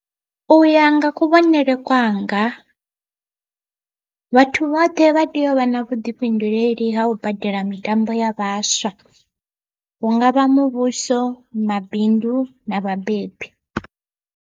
Uya nga kuvhonele kwanga vhathu vhoṱhe vha tea u vha na vhuḓifhinduleli ha u badela mitambo ya vhaswa, hungavha muvhuso, mabindu na vhabebi.